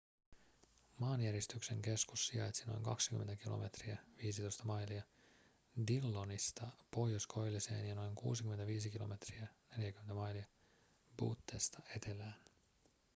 maanjäristyksen keskus sijaitsi noin 20 kilometriä 15 mailia dillonista pohjoiskoilliseen ja noin 65 kilometriä 40 mailia buttesta etelään